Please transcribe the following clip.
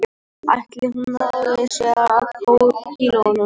Ætli hún nái af sér kílóunum